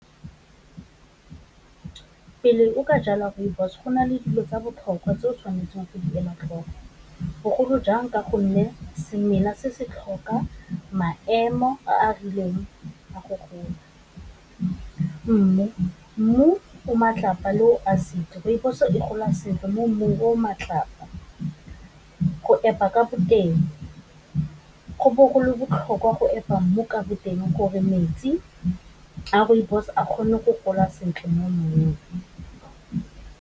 Pele o ka jala rooibos, go na le dilo tsa botlhokwa tse o tshwanetseng go di ela tlhoko, bogolo jang ka gonne semela se se tlhoka maemo a a rileng a go gola. Mmu, mmu o matlapa rooibos e gola sentle mo mmung o o matlapa go epa ka boteng, go bo golo botlhokwa go epa mmu ka boteng gore metsi a rooibos a kgone go gola sentle mo mmung.